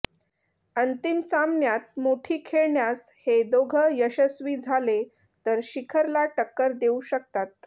अंतिम सामन्यात मोठी खेळण्यास हे दोघं यशस्वी झाले तर शिखरला टक्कर देऊ शकतात